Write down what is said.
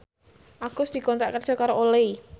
Agus dikontrak kerja karo Olay